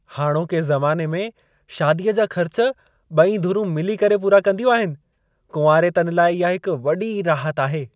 हाणोके ज़माने में शादीअ जा ख़र्च ॿई धुरुं मिली करे पूरा कंदियूं आहिनि। कुंवारेतनि लाइ इहा हिक वॾी राहति आहे।